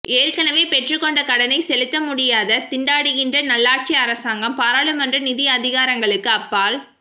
ஏற்கனவே பெற்றுக்கொண்ட கடனை செலுத்த முடியாது திண்டாடுகின்ற நல்லாட்சி அரசாங்கம் பாராளுமன்ற நிதி அதிகாரங்களுக்கு அப்பால்